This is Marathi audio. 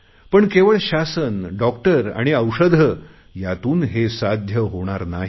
पण केवळ शासन डॉक्टर आणि औषधे यातून हे साध्य होणार नाही